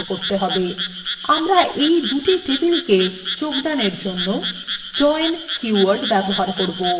আমরা এই দুই টেবিলএর যোগদানের জন্য join কীওয়ার্ড ব্যবহার করবো